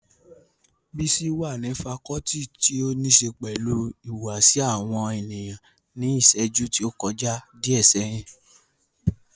Bísí wà ní fakọọti ti óníse pẹ̀lú ìhùwàsí àwọn ènìyàn ní ìṣẹ́jú tí ó kọjá díẹ̀ sẹ́yìn